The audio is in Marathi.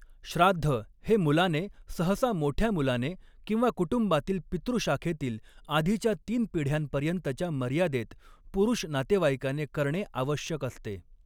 श्राद्ध हे मुलाने, सहसा मोठ्या मुलाने किंवा कुटुंबातील पितृशाखेतील, आधीच्या तीन पिढ्यांपर्यंतच्या मर्यादेत, पुरुष नातेवाईकाने करणे आवश्यक असते.